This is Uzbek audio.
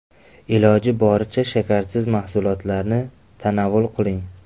Iloji boricha shakarsiz mahsulotlarni tanovul qiling.